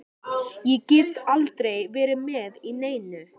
Ég get aldrei verið með í neinu.